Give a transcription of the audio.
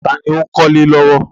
Ta ni ó ń kọ́lé lọ́wọ́?